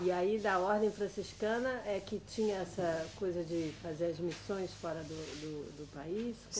E aí, da ordem franciscana, é que tinha essa coisa de fazer as missões fora do, do, do país?